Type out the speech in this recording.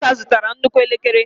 Ọ ka zụtara nnukwu elekere.